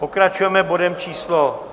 Pokračujeme bodem číslo